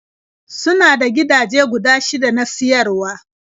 Suna da gidaje guda shida na siyarwa.